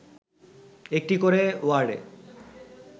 একটি করে ওয়ার্ডে